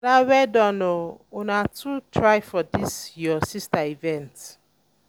ada well done oo una too try for dis um your um sister event